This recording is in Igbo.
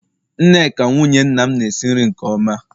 Nneka, nwunye nna m na-esi nri nke oma